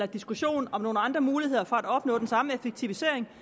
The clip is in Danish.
diskussion om nogle andre muligheder for at opnå den samme effektivisering